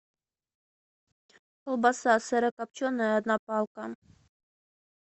колбаса сырокопченая одна палка